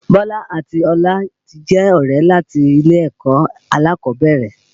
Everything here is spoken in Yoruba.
Bọlá àti Ọlá ti jẹ́ ọ̀rẹ́ láti ilé ẹ̀kọ́ alákọ̀ọ́bẹ̀rẹ̀